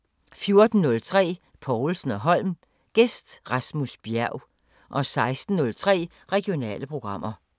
14:03: Povlsen & Holm: Gæst Rasmus Bjerg 16:03: Regionale programmer